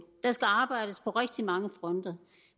der skal arbejdes på rigtig mange fronter